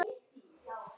OG SVO KOM SÓLIN UPP.